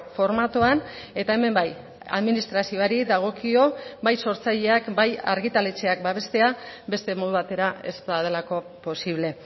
formatuan eta hemen bai administrazioari dagokio bai sortzaileak bai argitaletxeak babestea beste modu batera ez badelako posible